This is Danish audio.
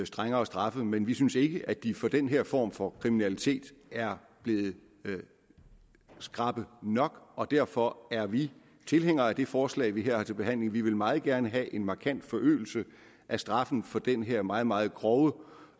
strengere straffe men vi synes ikke at de for den her form for kriminalitet er blevet skrappe nok og derfor er vi tilhænger af det forslag vi her har til behandling vi vil meget gerne have en markant forøgelse af straffen for den her meget meget grove